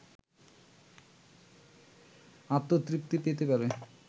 আত্মতৃপ্তি পেতে পারে